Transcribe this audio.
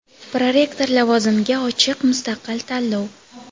Prorektor lavozimiga ochiq mustaqil tanlov.